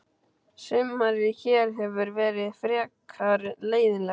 Sumarið hér hefur verið frekar leiðinlegt.